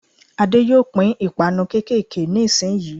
Adé yóò pín 'ìpanu kékèké' ní ìsin yìí